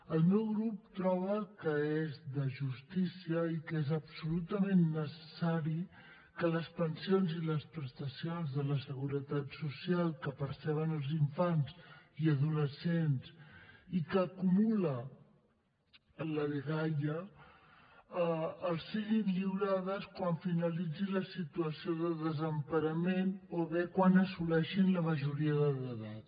el meu grup troba que és de justícia i que és absolutament necessari que les pensions i les prestacions de la seguretat social que perceben els infants i adolescents i que acumula la dgaia els siguin lliurades quan finalitzi la situació de desemparament o bé quan assoleixin la majoria d’edat